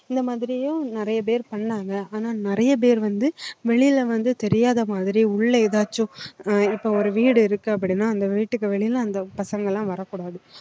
இந்த மாதிரியும் நிறைய பேர் பண்ணாங்க ஆனா நிறைய பேர் வந்து வெளியில வந்து தெரியாத மாதிரி உள்ள எதாச்சும் அஹ் இப்ப ஒரு வீடு இருக்கு அப்படின்னா அந்த வீட்டுக்கு வெளியில அந்த பசங்க எல்லாம் வரக் கூடாது